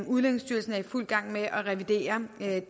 udlændingestyrelsen er i fuld gang med at revidere